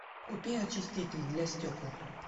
купи очиститель для стекол